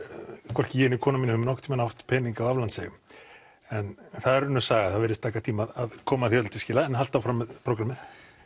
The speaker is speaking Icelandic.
hvorki ég né konan mín höfum aldrei nokkurn tímann átt pening á aflandseyjum en það er önnur saga það virðist taka tíma að koma því öllu til skila en haltu áfram með prógrammið